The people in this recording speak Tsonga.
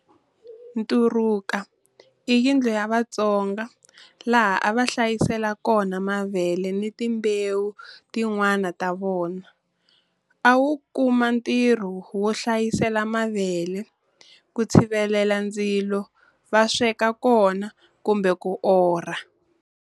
Nturuka i yindlu ya Vatsonga laha a va hlayisela kona mavele ni timbewu tin'wana ta vona. A wu kuma ntirho wo hlayisela mavele, ku tshivelela ndzilo va sweka kona kumbe ku orha.